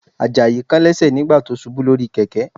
Àjàyí kán lẹ́sẹ̀ nígbà tó ṣubú lórí kẹ̀kẹ́